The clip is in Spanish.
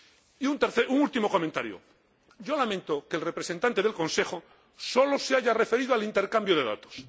Y un último comentario yo lamento que el representante del Consejo sólo se haya referido al intercambio de datos